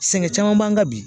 Sɛgɛn caman b'an kan bi